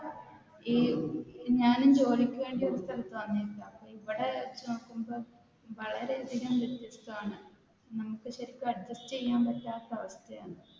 ഈ ഞാൻ ജോലിക്ക് വേണ്ടി research നടന്നിരുന്നു ഇവിടെ വെച്ച് നോക്കുമ്പോ വളരെയധികം വ്യത്യസ്തമാണ്. നമുക്ക് ശരിക്കും adjust ചെയ്യാൻ പറ്റാത്ത അവസ്ഥയാണ്